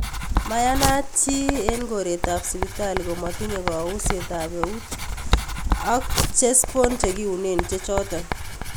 Mayanaat chi eng koreeetaab sibitali komatinye kaunseetaab euut ak chespoon chekiuneen chechoto